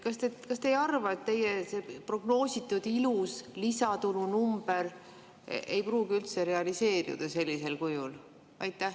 Kas te ei arva, et teie prognoositud ilus lisatulunumber ei pruugi üldse realiseeruda sellisel kujul?